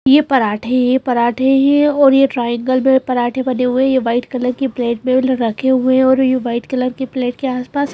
ये पराठे ये पराठे ये और ये ट्रायंगल में पराठे बने हुए हैं ये वाइट कलर की प्लेट में रखे हुए हैं और ये वाइट कलर की प्लेट के आसपास--